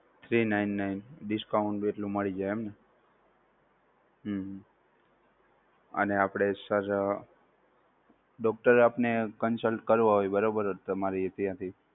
three nine nine discount જેટલું મળી જાય એમ ને? હમ અને આપણે sir doctor આપણે consult કરવા હોય બરોબર તમારી ત્યાંથી